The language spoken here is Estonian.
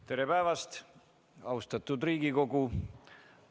Tere päevast, austatud Riigikogu!